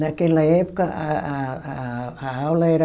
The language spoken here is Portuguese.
Naquela época a a a a a aula era...